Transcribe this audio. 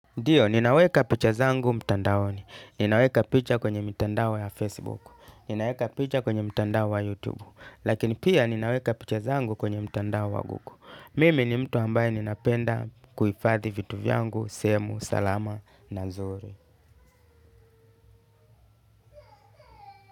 Ndiyo, ninaweka picha zangu mtandaoni, ninaweka picha kwenye mitandao ya Facebook, ninaweka picha kwenye mtandao wa YouTube, lakini pia ninaweka picha zangu kwenye mtandao wa Google. Mimi ni mtu ambaye ninapenda kuhifadhi vitu vyangu sehemu salama na nzuri.